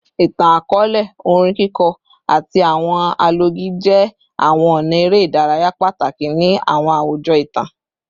Itan-akọọlẹ, orin kiko, ati awọn alọgi jẹ awọn ọna ere idaraya pataki ni awọn awujọ itan